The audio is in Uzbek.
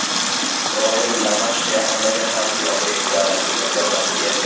Isroil Damashq yaqinidagi harbiy obyektga raketa zarbasi berdi.